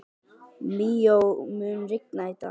Míó, mun rigna í dag?